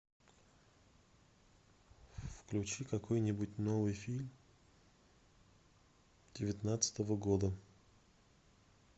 включи какой нибудь новый фильм девятнадцатого года